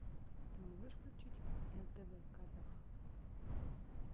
ты можешь включить на тв казах